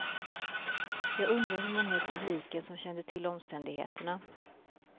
Jag undrar hur många i publiken som kände till omständigheterna.